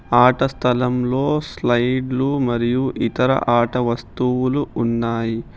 ఆట స్థలంలో స్లైడ్లు మరియు ఇతర ఆట వస్తువులు ఉన్నాయి.